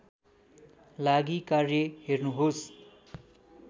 लागि कार्य हेर्नुहोस्